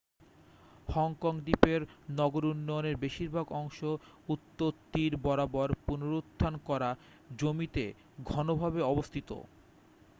Hong Kong দ্বীপের নগর উন্নয়নের বেশিরভাগ অংশ উত্তর তীর বরাবর পুনরদ্ধার করা জমিতে ঘনভাবে অবস্থিত